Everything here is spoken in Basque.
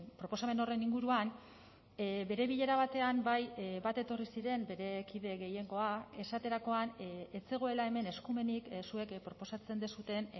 proposamen horren inguruan bere bilera batean bai bat etorri ziren bere kide gehiengoa esaterakoan ez zegoela hemen eskumenik zuek proposatzen duzuen